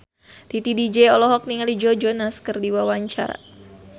Titi DJ olohok ningali Joe Jonas keur diwawancara